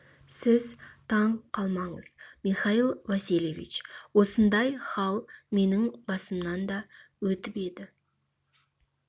сіз таң қалмаңыз михаил васильевич осындай хал менің басымнан да өтіп еді